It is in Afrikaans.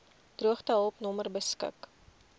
droogtehulp nommer beskik